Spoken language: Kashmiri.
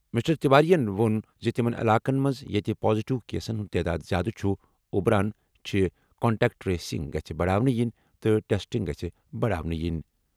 مسٹر تیواریَن ووٚن زِ تِمَن علاقَن منٛز ییٚتہِ پازیٹیو کیسَن ہٕنٛز تعداد زیادٕ چھِ اُبران چھِ، کنٹیکٹ ٹریسنگ گژھہِ بڑاونہٕ یِنہِ تہٕ ٹیسٹنگ گژھہِ بڑاونہٕ یِنۍ۔